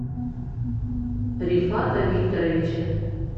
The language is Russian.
рифата викторовича